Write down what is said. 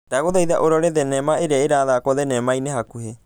dagũthaitha ũrore thenema ĩria ĩrathakwo thenema-inĩ hakũhi